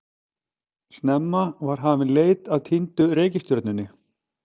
Snemma var hafin leit að týndu reikistjörnunni.